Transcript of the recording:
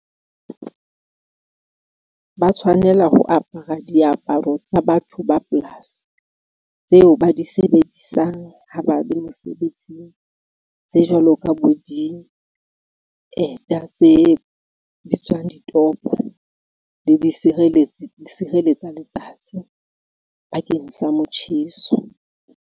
Ba tshwanela ho apara diaparo tsa batho ba polasi tseo ba di sebedisang ha ba le mosebetsing tse jwalo ka bo dieta tse bitswang ditopo le disireletsi di sireletsa letsatsi bakeng sa motjheso.